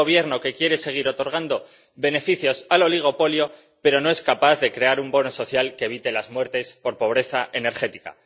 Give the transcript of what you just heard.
un gobierno que quiere seguir otorgando beneficios al oligopolio, pero no es capaz de crear un bono social que evite las muertes por pobreza energética.